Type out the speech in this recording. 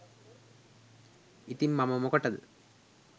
ඉතිං මම මොකටද